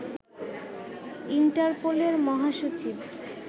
ইন্টারপোলের মহাসচিব